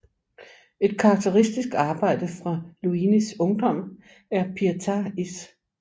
Et karakteristisk arbejde fra Luinis ungdom er Pieta i S